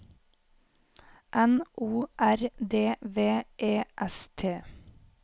N O R D V E S T